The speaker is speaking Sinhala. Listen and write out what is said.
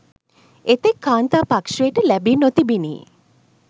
එතෙක් කාන්තා පක්‍ෂයට ලැබී නොතිබිණි.